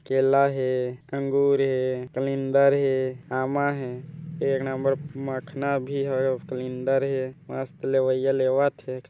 केला हे अंगूर हे कलिंदर हे आमा हे एक नंबर मखना भी हे और कलिंदर हे मस्त लवैया लेवत हे ।